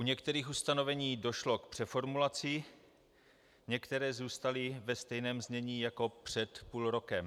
U některých ustanovení došlo k přeformulaci, některé zůstaly ve stejném znění jako před půl rokem.